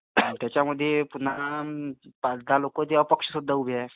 आणि त्याच्यामध्ये पुन्हा पाच दहा लोक जे अपक्ष सुद्धा उभे आहेत.